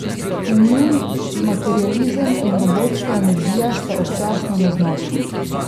In njun materializem in robotska energija sta občasno neznosna.